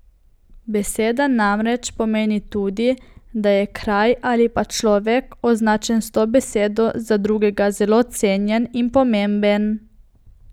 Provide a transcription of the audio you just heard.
Beseda namreč pomeni tudi, da je kraj ali pa človek, označen s to besedo, za drugega zelo cenjen in pomemben.